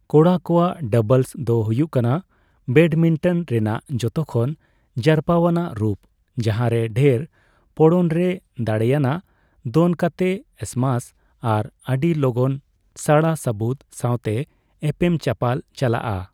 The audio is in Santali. ᱠᱚᱲᱟ ᱠᱚᱣᱟᱜ ᱰᱟᱵᱚᱞᱥ ᱫᱚ ᱦᱩᱭᱩᱜ ᱠᱟᱱᱟ ᱵᱮᱰᱢᱤᱱᱴᱚᱱ ᱨᱮᱱᱟᱜ ᱡᱚᱛᱚ ᱠᱷᱚᱱ ᱡᱟᱨᱯᱟᱣᱟᱱᱟᱜ ᱨᱩᱯ, ᱡᱟᱦᱟᱸᱨᱮ ᱰᱷᱮᱨ ᱯᱚᱲᱚᱱᱨᱮ ᱫᱟᱲᱮᱭᱟᱱᱟᱜ ᱫᱚᱱ ᱠᱟᱛᱮ ᱥᱢᱟᱥ ᱟᱨ ᱟᱹᱰᱤ ᱞᱚᱜᱚᱱ ᱥᱟᱲᱟ ᱥᱟᱹᱵᱩᱫᱽ ᱥᱟᱣᱛᱮ ᱮᱯᱮᱢᱼᱪᱟᱯᱟᱞ ᱪᱟᱞᱟᱜᱼᱟ ᱾